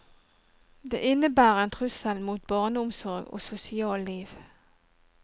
Det innebærer en trussel mot barneomsorg og sosial liv.